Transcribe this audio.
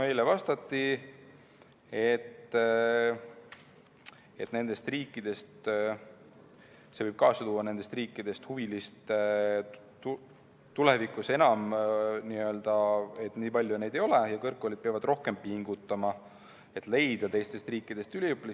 Meile vastati, et see võib kaasa tuua selle, et nendest riikidest huvilisi tulevikus enam nii palju ei ole ja kõrgkoolid peavad rohkem pingutama, et leida üliõpilasi teistest riikidest.